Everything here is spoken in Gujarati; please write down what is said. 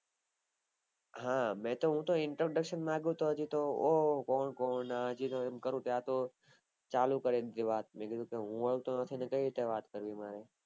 હા મેં તો introduction માંગું કે કોણ કોણ હજી તો એમ કરું કે ત્યાં તો ચાલુ કરી દીધી વાત મેં કીધું ક હું ઓળખતો નથી ને કાય રીતે વાત કરવી મારે